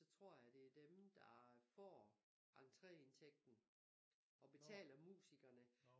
Så tror jeg det er dem der får entreindtægten og betaler musikerne